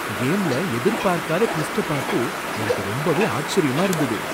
கேம்ல எதிர்பார்க்காத டுவிஸ்ட பாத்து எனக்கு ரொம்பவே ஆச்சரியமா இருந்துது.